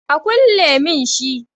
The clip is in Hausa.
A kulle mun shi